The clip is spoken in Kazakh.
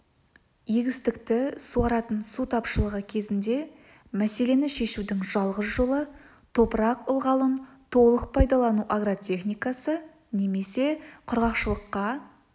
егістікті суаратын су тапшылығы кезінде мәселені шешудің жалғыз жолы топырақ ылғалын толық пайдалану агротехникасы немесе құрғақшылыққа